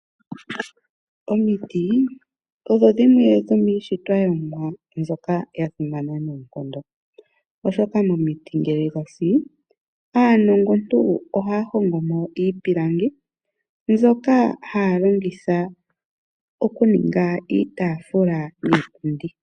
Omiti odho dhimwe dhomiishitwa yOmumwa mbyoka ya simana noonkondo, oshoka momiti ngele dha si, aanongontu ohaya hongo mo iipilangi, mbyoka haya longitha oku ninga iitafula niipundi.